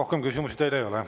Rohkem küsimusi teile ei ole.